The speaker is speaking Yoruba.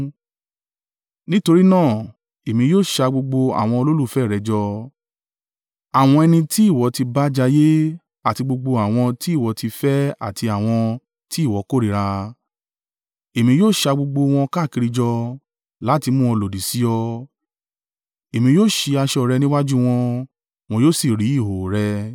nítorí náà, Èmi yóò ṣa gbogbo àwọn olólùfẹ́ rẹ jọ, àwọn ẹni ti ìwọ ti bá jayé àti gbogbo àwọn tí ìwọ ti fẹ́ àti àwọn tí ìwọ kórìíra. Èmi yóò sa gbogbo wọn káàkiri jọ, láti mú wọn lòdì sí ọ, èmi yóò sí aṣọ rẹ, níwájú wọn, wọn yóò sì rí ìhòhò rẹ.